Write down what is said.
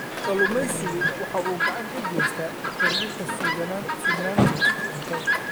Kalluumaysigu waxa uu gacan ka geystaa kordhinta sugnaanta cuntada.